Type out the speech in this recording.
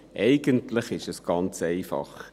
Eigentlich ist es ganz einfach.